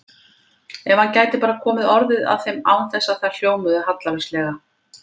Ef hann gæti bara komið orðum að þeim án þess að þær hljómuðu hallærislega!